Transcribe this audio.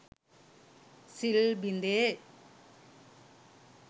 සිල් බිඳේ.